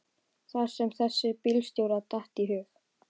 Það sem þessum bílstjóra datt í hug.